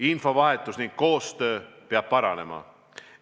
Infovahetus ja koostöö peab paranema.